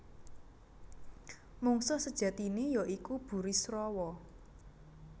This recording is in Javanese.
Mungsuh sejatiné ya iku Burisrawa